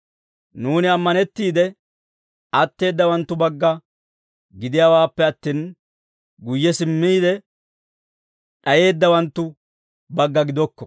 Nuuni ammanettiide atteeddawanttu bagga gidiyaawaappe attin, guyye simmiide d'ayeeddawanttu bagga gidokko.